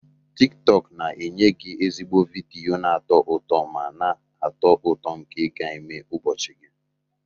tiktok na-enye gị ezigbo vidiyo na-atọ ụtọ ma na-atọ ụtọ nke ga-eme ụbọchị gị